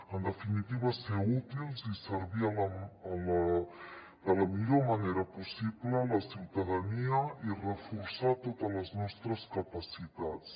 en definitiva ser útils i servir de la millor manera possible la ciutadania i reforçar totes les nostres capacitats